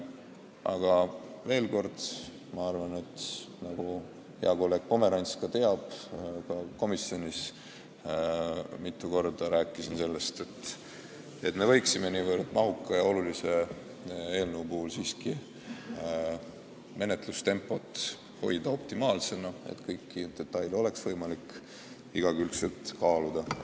Aga veel kord: nagu ka hea kolleeg Pomerants teab, ma rääkisin komisjonis mitu korda sellest, et me võiksime niivõrd mahuka ja olulise eelnõu puhul menetlustempot siiski optimaalsena hoida, et kõiki detaile oleks võimalik igakülgselt kaaluda.